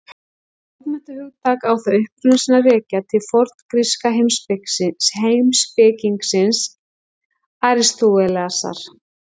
Sem bókmenntahugtak á það uppruna sinn að rekja til forngríska heimspekingsins Aristótelesar.